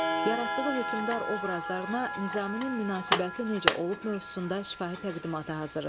Yaratdığı hökmdar obrazlarına Nizaminin münasibəti necə olub mövzusunda şifahi təqdimata hazırlaşın.